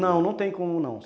Não, não tem como não.